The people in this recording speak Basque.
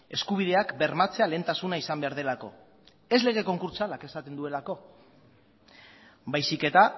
eskubideak bermatzea lehentasuna izan behar delako ez lege konkurtsalak esaten duelako baizik eta